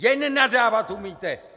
Jen nadávat umíte.